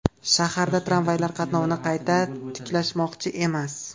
Shaharda tramvaylar qatnovini qayta tiklashmoqchi emas .